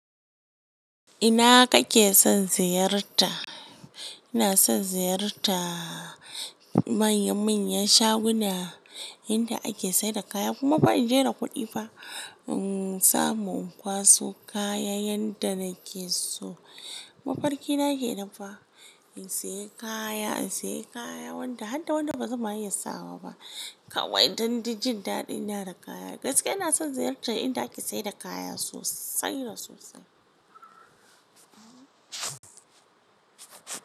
Ina kake son ziyarta? Ina son ziyarta manya manyan shaguna, inda ake saida kaya kuma ba'in je da kuɗi ba. In samu in kwaso kaya yanda nake so. Mafarki na kenan fa. In sayi kaya, in sayi kaya wanda har da wanda bazan iya sawa ba. Kawai don di jin daɗi na da kaya. Gaskiya ina son ziyarta inda ake saida kaya sosai da sosai.